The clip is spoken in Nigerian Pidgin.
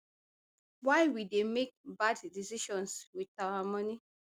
why we dey make bad decisions wit our money